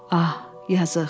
Ah, yazıq.